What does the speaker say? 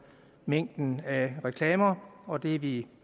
mængden af reklamer og det er vi